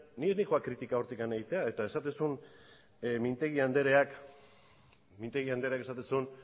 noa kritika hortik egitera eta esaten zuen mintegi andereak